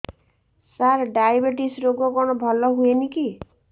ସାର diabetes ରୋଗ କଣ ଭଲ ହୁଏନି କି